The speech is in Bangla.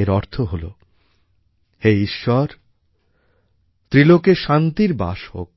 এর অর্থ হলো হে ঈশ্বরত্রিলোকে শান্তির বাস হোক